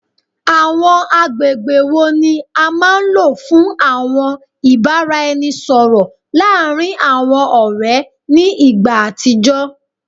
Awọn agbegbe wo ni a maa n lo fun awọn ibaraẹnisọrọ laarin awọn ọrẹ ni igba atijọ?